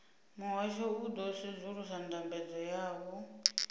muhasho u ḓo sedzulusa ndambedzo yavho